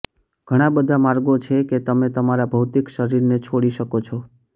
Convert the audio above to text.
ઘણા બધા માર્ગો છે કે તમે તમારા ભૌતિક શરીરને છોડી શકો છો